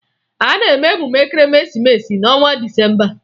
A na-eme emume Ekeresimeesi n'ọnwa Disemba